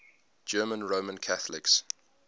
german roman catholics